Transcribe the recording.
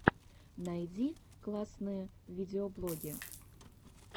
найди классные видеоблоги